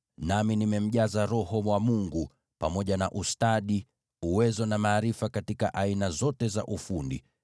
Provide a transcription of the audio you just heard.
nami nimemjaza Roho wa Mungu, pamoja na ustadi, uwezo na ujuzi katika aina zote za ufundi,